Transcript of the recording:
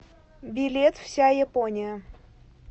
билет вся япония